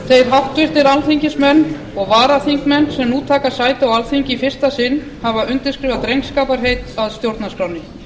þeir háttvirtir alþingismenn og varaþingmenn sem nú taka sæti á alþingi í fyrsta sinn hafa undirritað drengskaparheit að stjórnarskránni